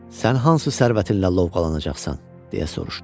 Sən hansı sərvətinlə lovğalanacaqsan, deyə soruştu.